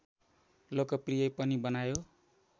लोकप्रिय पनि बनायो